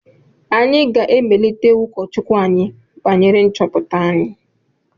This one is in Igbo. Anyị ga-emelite ụkọchukwu anyị banyere nchọpụta anyị